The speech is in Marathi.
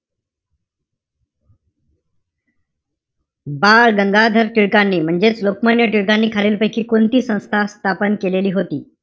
बालगंगाधर टिळकांनी म्हणजेच लोकमान्य टिळकांनी खालील पैकी कोणती संस्था स्थापन केलेली होती.